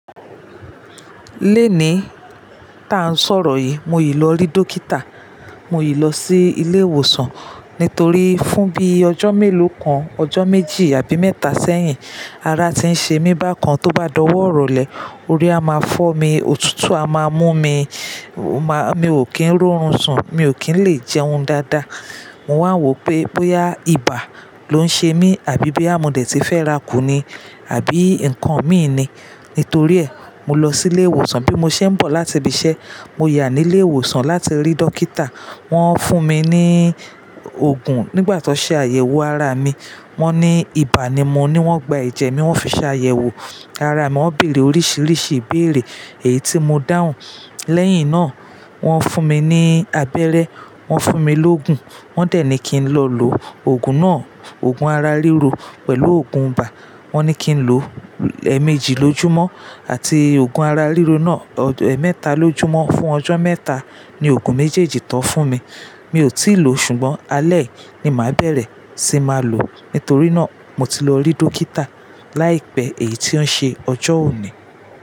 Léèní ta n sọ̀rọ̀ yìí, mo yìí lọ rí dókítà, mo yìí lọ sí ilé ìwòsàn nítorí fún bí ọjọ́ mélòó kan, ọjọ́ méjì àbí mẹ́ta sẹ́yìn, ara ti ń ṣe mí bákan tó bá dọ̀wọ́ irọlẹ, orí a máa fọ́ mi, òtútù a máa mú mi, mo má-- mi ò kí ń rorún ń sùn, mi ò kí ń le jẹun dáadáa. Mo wàá wo pé bóyá ibà ló ń ṣe mí àbí bí a múdẹ̀ tí fẹ́ra kù ni àbí nǹkan mí ì ni. Nítorí ẹ, mo lọ sí ilé ìwòsàn bí mo ṣe ń bọ̀ láti ibi iṣẹ́, mo yà ní ilé ìwòsàn láti rí dọkítà. Wọ́n fún mi ní òògùn nígbà tó ṣe àyẹ̀wò ara mi. Wọ́n ní ibà ni mo ní wọ́n gba ẹ̀jẹ̀ mi, wọ́n fi ṣe àyẹ̀wò ara mi, wọ́n bèrè oríṣiríṣi ìbéèrè èyí tí mo dáhùn. Lẹ́yìn náà, wọ́n fún mi ní abẹ́rẹ́, wọ́n fún mi lógùn, wọ́n dẹ̀ ní kí n lọ lò òògùn náà, òògùn ara ríro pẹ̀lú òògùn ibà. Wọ́n ní kí n lò ẹ̀ẹ̀mẹ́jì lójúmọ́ àti òògùn ara ríro náà ẹ̀ẹ̀mẹ́ta lójúmọ́ fún ọjọ́ mẹ́ta ni òògùn méjèèjì tó fún mi. Mi ò tíì lò ṣùgbọ́n alẹ́ ni màá bẹ̀rẹ̀ sí máa lò. Nítorí náà, mo ti lọ rí dókítà láìpẹ́ èyí tí ó ṣe ọjọ́ òní.